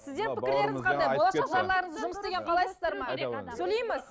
сіздер пікірлеріңіз қандай болашақ жарларыңыз жұмыс істегендерін қалайсыздар ма сөйлейміз